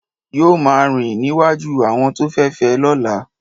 yóò máa rìn níwájú àwọn tó fẹ fé lọ́la.